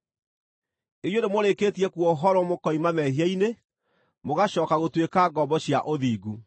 Inyuĩ nĩmũrĩkĩtie kuohorwo mũkoima mehia-inĩ, mũgacooka gũtuĩka ngombo cia ũthingu.